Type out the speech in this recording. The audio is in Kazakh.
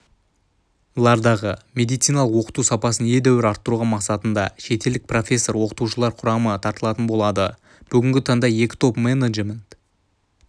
лардағы медициналық оқыту сапасын едәуір арттыру мақсатында шетелдік профессор-оқытушылар құрамы тартылатын болады бүгінгі таңда екі топ-менеджмент